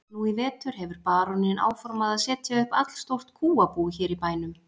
Nú í vetur hefur baróninn áformað að setja upp allstórt kúabú hér í bænum.